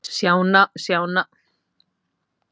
sjá nánar á heimasíðu fjármálaráðuneytisins